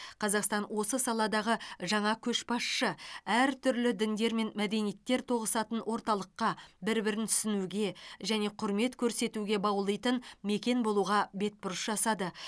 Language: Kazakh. қазақстан осы саладағы жаңа көшбасшы әртүрлі діндер мен мәдениеттер тоғысатын орталыққа бір бірін түсінуге және құрмет көрсетуге баулитын мекен болуға бетбұрыс жасады